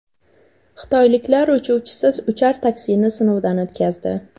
Xitoyliklar uchuvchisiz uchar taksini sinovdan o‘tkazdi .